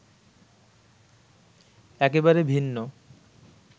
একেবারে ভিন্ন